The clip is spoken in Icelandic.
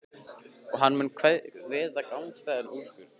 Og hann mun kveða upp gagnstæðan úrskurð.